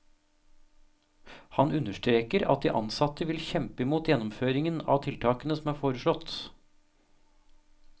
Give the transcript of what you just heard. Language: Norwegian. Han understreker at de ansatte vil kjempe imot gjennomføringen av tiltakene som er foreslått.